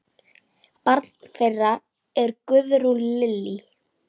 Barn þeirra er Guðrún Lillý.